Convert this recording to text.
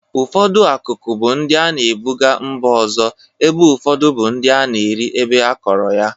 Ụfọdụ akụkụ bụ ndị a na-ebụga mba ndị ọzọ ebe ụfọdụ bụ ndị a na-eri ebe akọrọ ya.